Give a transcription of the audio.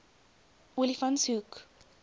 olifantshoek